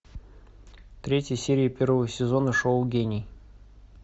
третья серия первого сезона шоу гений